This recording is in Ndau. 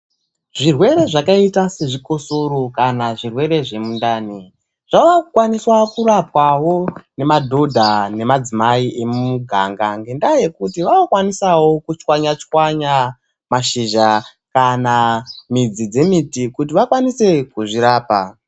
Zvirwere zvakaita sezvikosoro kana zvirwere zvemundani, zvave kukwaniswa kurapwawo nemadhodha nemadzimai emuganga ngendaa yekuti vave kukwanisawo kutswanya tswanya mashizha kana midzi dzemiti kuti vakwanise kuzvirapa.